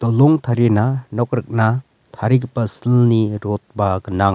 long tarina nok rikna tarigipa silni rod-ba gnang.